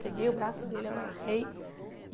Peguei o braço dele, amarrei.